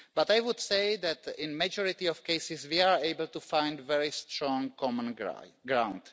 But I would say that, in the majority of cases, we are able to find very strong common ground.